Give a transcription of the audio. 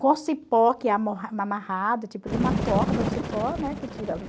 com o cipó que tipo de uma corda, o cipó, né, que tira.